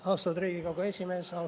Austatud Riigikogu esimees!